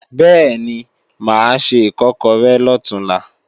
Bẹ́ẹ̀ni, mà á se Ìkọ́kọrẹ́ lọ̀túnla